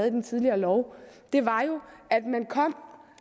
i den tidligere lov var jo at man